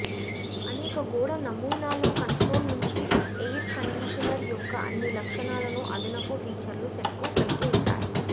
అనేక గోడ నమూనాలు కన్సోల్ నుంచి ఎయిర్ కండీషనర్ యొక్క అన్ని లక్షణాలను అదనపు ఫీచర్ల సెట్కు కలిగి ఉంటాయి